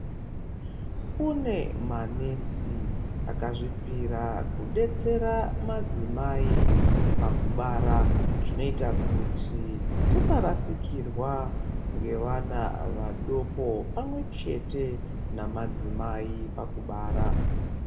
Kune manesi akazvipira kudetsera madzimai pakubara, zvinoita kuti tisarasikirwa ngevana vadoko pamwe chete namadzimai pakubara.